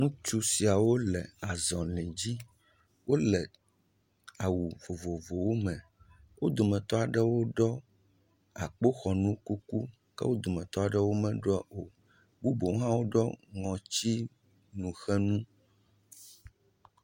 Ŋutsu siawo le zɔli dzi. Wòle awu vovovowo me. Wo dometɔ aɖewo ɖɔ akpoxɔnu kuku. Wo dometɔ aɖewo me ɖɔe o. Eɖewo hã ɖɔ ŋɔti nu xe nu